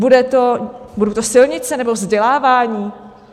Budou to silnice nebo vzdělávání?